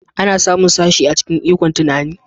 Ana samun sashe a cikin ikon tunani